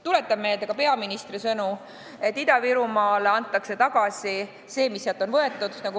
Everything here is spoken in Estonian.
Tuletan ka meelde peaministri sõnu, et Ida-Virumaale antakse tagasi see, mis sealt on võetud.